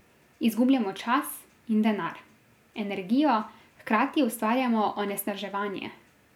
Izgubljamo čas in denar, energijo, hkrati ustvarjamo onesnaževanje.